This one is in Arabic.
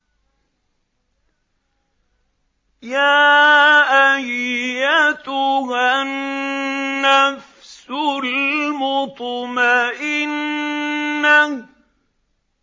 يَا أَيَّتُهَا النَّفْسُ الْمُطْمَئِنَّةُ